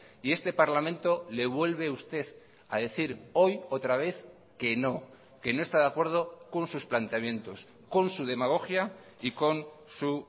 y este parlamento le vuelve usted a decir hoy otra vez que no que no está de acuerdo con sus planteamientos con su demagogia y con su